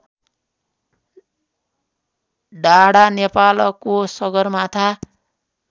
डाढा नेपालको सगरमाथा